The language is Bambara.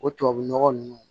O tubabu nɔgɔ nunnu